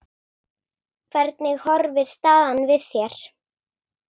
Hvernig horfir staðan við þér?